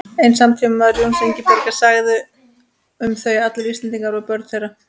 Einn samtímamaður Jóns og Ingibjargar sagði um þau: Allir Íslendingar voru börn þeirra